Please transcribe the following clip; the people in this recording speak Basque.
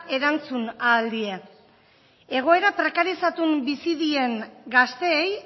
erantzun ahal die egoera prekarizatun bizi dien gazteei